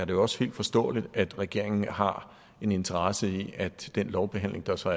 jo også helt forståeligt at regeringen har en interesse i at den lovbehandling der så